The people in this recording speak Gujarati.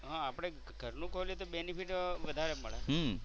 હા આપણે ઘરનું ખોલી તો benefit વધારે મળે.